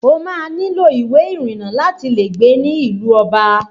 O máa nílò ìwé ìrìnnà láti lè gbé ní ìlú ọba